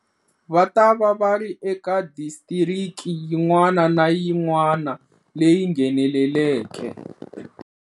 Va ta va va ri eka disitiriki yin'wana na yin'wa na leyi ngheneleke.